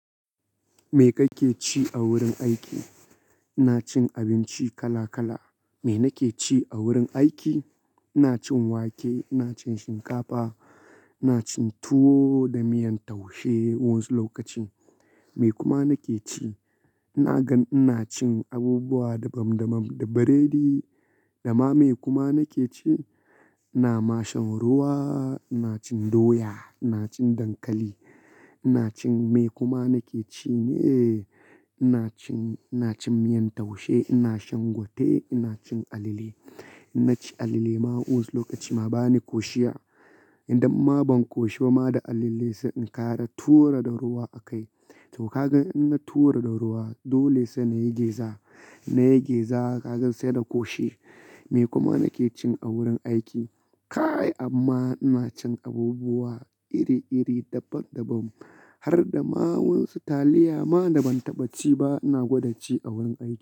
Me kake ci a wurin aiki? Ina cin abinci kala kala. Me nake ci a wurin aiki? Ina cin wake, ina cin shinkafa, ina cin tuwo da miyan taushe wasu lokaci. Me kuma nake ci? Ina gan ina cin abubuwa dabam dabam, da burodi. Da ma me kuma nake ci? Ina mashan ruwa, ina cin doya, ina cin dankali, ina cin me kuma nake ci ne, ina cin, ina cin miyan taushe, ina shan gwate, ina cin alale. Inna ci alale ma wasu lokaci ma ba ni koshiya. Idan ma ban koshi ba ma da alale, sai in kara tura da ruwa a kai. To ka gan in na tura da ruwa dole sai na yi geza. Na yi geza ka ga sai na koshi. Me kuma nake cin a wurin aiki? Kai amma ina cin abubuwa iri iri dabam dabam har da ma wasu taliya ma da ban taɓa ci ba ina gwada ci a wurin aiki.